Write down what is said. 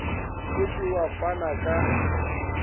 o se wa fana ka